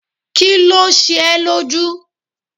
Kí ló ṣe ẹ́ lójú?